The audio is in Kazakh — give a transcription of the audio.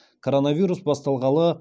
коронавирус басталғалы